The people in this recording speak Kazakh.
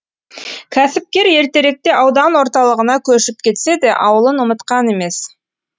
кәсіпкер ертеректе аудан орталығына көшіп кетсе де ауылын ұмытқан емес